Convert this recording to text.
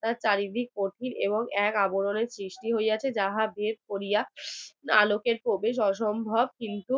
চারিদিক কঠিন এবং এক আবরণ সৃষ্টি হইয়া আছে যা ভেদ করিয়া আলোকের প্রবেশ অসম্ভব কিন্তু